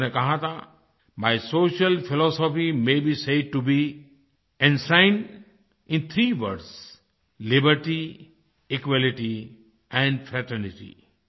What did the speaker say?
उन्होंने कहा था my social philosophy may be said to be enshrined in three words liberty equality and fraternity